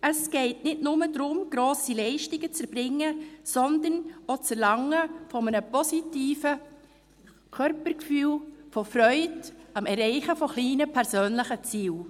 Es geht nicht nur darum, grosse Leistungen zu erbringen, sondern auch um das Erlangen eines positiven Körpergefühls, um Freude am Erreichen von kleinen persönlichen Zielen.